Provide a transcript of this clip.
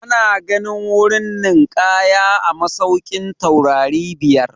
Ana ganin wurin ninƙaya a masaukin taurari biyar.